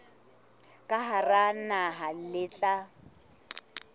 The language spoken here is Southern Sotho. ka hara naha le tla